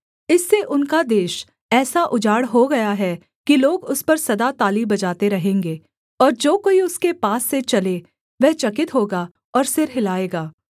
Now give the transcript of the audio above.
इससे उनका देश ऐसा उजाड़ हो गया है कि लोग उस पर सदा ताली बजाते रहेंगे और जो कोई उसके पास से चले वह चकित होगा और सिर हिलाएगा